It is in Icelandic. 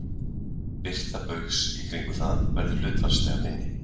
Birta baugs í kringum það verður því hlutfallslega minni.